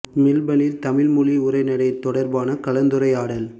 மெல்பனில் தமிழ் மொழி உரைநடை தொடர்பான கலந்துரையாடல்